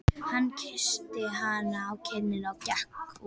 Hann kyssti hana á kinnina og gekk út.